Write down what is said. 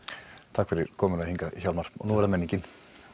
takk fyrir komuna hingað Hjálmar núna er það menningin